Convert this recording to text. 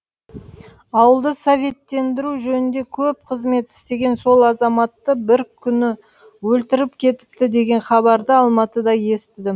ауылды советтендіру жөнінде көп қызмет істеген сол азаматты бір күні өлтіріп кетіпті деген хабарды алматыда естідім